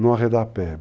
Não arredar a pé.